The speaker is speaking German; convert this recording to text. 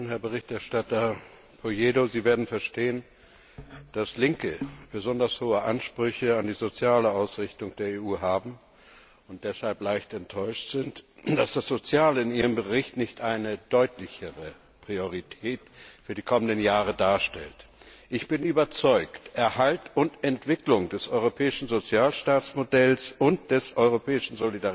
Herr Berichterstatter Polledo, Sie werden verstehen, dass Linke besonders hohe Ansprüche an die soziale Ausrichtung der EU haben und deshalb leicht enttäuscht sind, dass das Soziale in Ihrem Bericht nicht eine deutlichere Priorität für die kommenden Jahre darstellt. Ich bin überzeugt, dass Erhalt und Entwicklung des europäischen Sozialstaatmodells und des europäischen